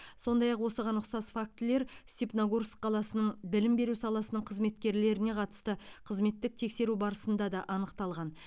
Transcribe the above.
сондай ақ осыған ұқсас фактілер степногорск қаласының білім беру саласының қызметкерлеріне қатысты қызметтік тексеру барысында да анықталған